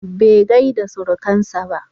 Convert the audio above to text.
Bai gaida surukarsa ba.